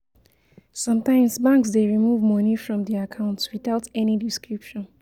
Sometimes banks de remove money from di account without any description